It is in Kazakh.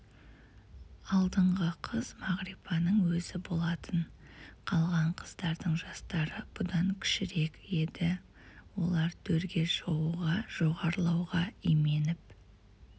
алдыңғы қыз мағрипаның өзі болатын қалған қыздардың жастары бұдан кішірек еді олар төрге шығуға жоғарылауға именіп